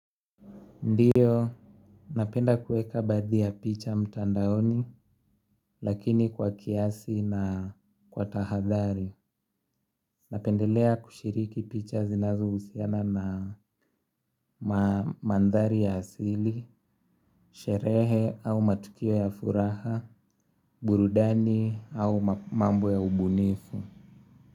Ndiyo, napenda kuweka baadhi ya picha mtandaoni, lakini kwa kiasi na kwa tahadhari. Napendelea kushiriki picha zinazohusiana na mandhari ya asili, sherehe au matukio ya furaha, burudani au mambo ya ubunifu.